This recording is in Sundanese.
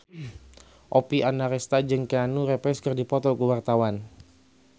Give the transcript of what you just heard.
Oppie Andaresta jeung Keanu Reeves keur dipoto ku wartawan